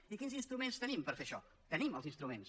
i quins instruments tenim per fer això tenim els instruments